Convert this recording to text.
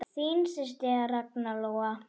Þín systir Ragna Lóa.